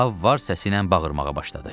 Ahab var səsiylə bağırmağa başladı.